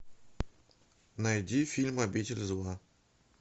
найди фильм обитель зла